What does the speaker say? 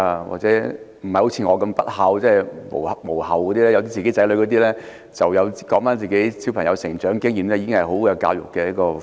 或者不像我這樣不孝而有子女的人，只要回顧自己子女的成長經驗，便已經是很好的教育題材。